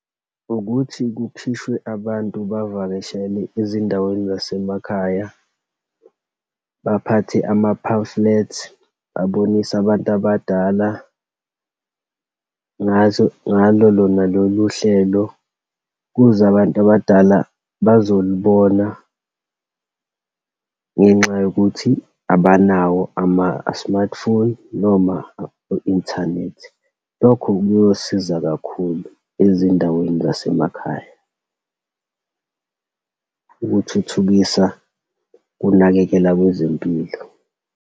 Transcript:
Ukuthi kukhishwe abantu bavakashele ezindaweni zasemakhaya. Baphathe ama-pamphlets babonise abantu abadala, ngazo, ngalo lona lolu hlelo, kuze abantu abadala bazolibona ngenxa yokuthi abanawo ama-smartphone, noma i-inthanethi. Lokho kuyosiza kakhulu ezindaweni zasemakhaya, ukuthuthukisa kunakekela kwezempilo.